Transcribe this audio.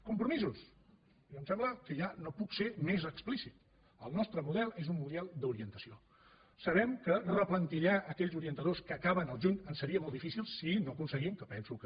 compromisos em sembla que ja no puc ser més explícit el nostre model és un model d’orientació sabem que replantillar aquells orientadors que acaben al juny ens seria molt difícil si no aconseguim que penso que